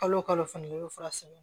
Kalo kalo fana i bɛ fura san